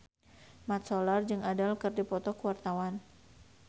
Mat Solar jeung Adele keur dipoto ku wartawan